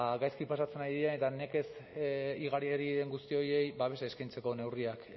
gaizki pasatzen ari diren eta nekez igari ari diren guzti horiei babesa eskaintzeko neurriak